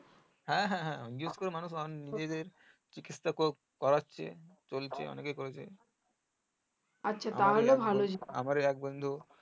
হ্যাঁ হ্যাঁ হ্যাঁ নিশ্চই মানুষ নিজেদের চিকিৎসা করেছে চলছে অনেকে করেছে আমার ই এক বন্ধু